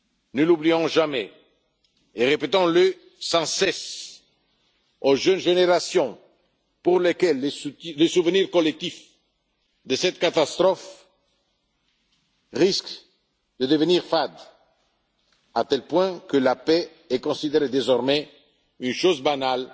Ne l'oublions jamais et répétons le sans cesse aux jeunes générations, pour lesquelles le souvenir collectif de cette catastrophe risque de s'estomper, à tel point que la paix est considérée désormais comme une chose banale